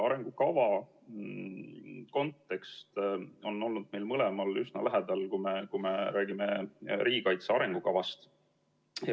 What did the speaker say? Arengukava kontekst on olnud meile mõlemale üsna lähedane, kui me räägime riigikaitse arengukavast.